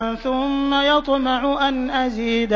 ثُمَّ يَطْمَعُ أَنْ أَزِيدَ